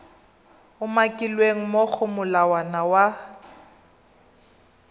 umakilweng mo go molawana wa